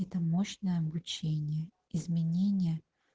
это мощная обучение изменения